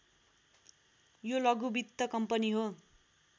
यो लघु वित्त कम्पनी हो